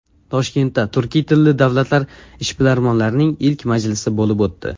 Toshkentda turkiy tilli davlatlar ishbilarmonlarining ilk majlisi bo‘lib o‘tdi .